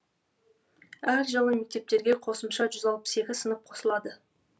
әр жылы мектептерге қосымша жүз алпыс екі сынып қосылады